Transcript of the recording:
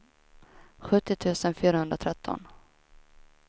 sjuttio tusen fyrahundratretton